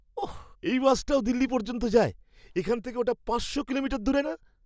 ওহ! এই বাসটাও দিল্লি পর্যন্ত যায়? এখান থেকে ওটা পাঁচশো কিলোমিটার দূরে না?